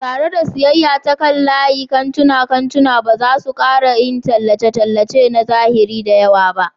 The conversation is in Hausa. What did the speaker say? Tare da siyayya ta kan layi, manyan kantunan kantuna ba za su ƙara yin tallace-tallace na zahiri da yawa ba.